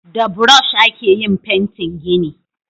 Da burosh a ke yin fentin gini